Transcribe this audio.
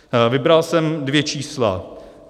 Vybral jsem dvě čísla.